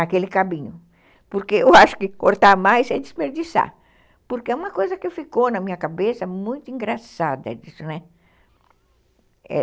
aquele cabinho, porque eu acho que cortar mais é desperdiçar, porque é uma coisa que ficou na minha cabeça muito engraçada disso, né?